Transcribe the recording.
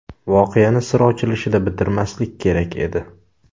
Voqeani sir ochilishida bitirmaslik kerak edi.